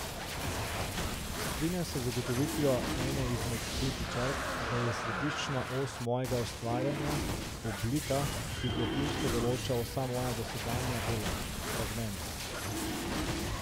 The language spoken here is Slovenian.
Strinjam se z ugotovitvijo ene izmed kritičark, da je središčna os mojega ustvarjanja, oblika, ki globinsko določa vsa moja dosedanja dela, fragment.